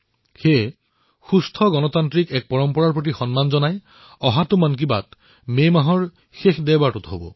সুস্থ গণতান্ত্ৰিক পৰম্পৰাৰ সন্মান কৰি অহা মন কী বাত মে মাহৰ শেষৰটো দেওবাৰে প্ৰচাৰ হব